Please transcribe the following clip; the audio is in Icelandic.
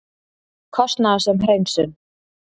Kostnaðarsöm hreinsun